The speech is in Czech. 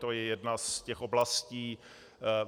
To je jedna z těch oblastí.